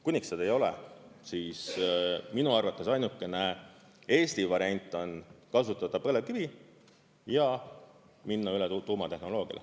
Kuniks seda ei ole, siis minu arvates ainukene Eesti variant on kasutada põlevkivi ja minna üle tuumatehnoloogiale.